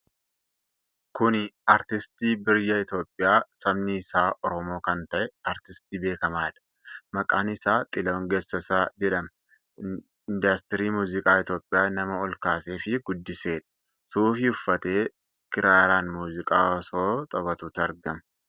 Kuni artistii biyya Itoophiyaa sabni isaa Oromoo kan ta'e, artistii beekamaadha. Maqaan isaa Xilahuun Gassassaa jedhama. Indaastirii muuziqaa Itoophiyaa nama ol kaasee fi guddiseedha. Suufii uffatee kiraaraan muuziqaa osoo taphatuuti argama.